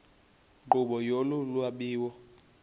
nkqubo yolu lwabiwo